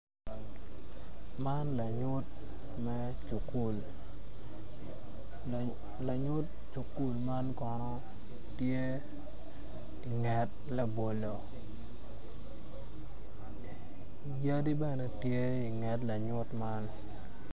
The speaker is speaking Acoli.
Man lanyu me cukul, lanyut cukul man kono tye inget labolo yadi bene tye inge lanyut man